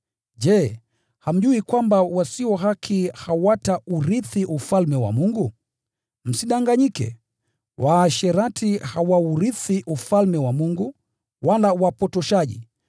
Je, hamjui kwamba wasio haki hawataurithi Ufalme wa Mungu? Msidanganyike: Waasherati, wala waabudu sanamu, wala wazinzi, wala wahanithi, wala walawiti,